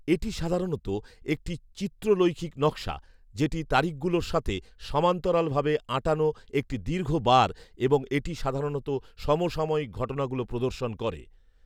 এটি সাধারণত একটি চিত্রলৈখিক নকশা যেটি তারিখগুলোর সাথে সমান্তরালভাবে আঁটানো একটি দীর্ঘ বার এবং এটি সাধারণত সমসাময়িক ঘটনাগুলো প্রদর্শন করে